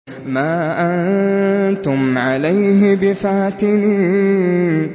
مَا أَنتُمْ عَلَيْهِ بِفَاتِنِينَ